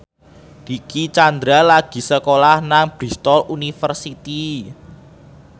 Dicky Chandra lagi sekolah nang Bristol university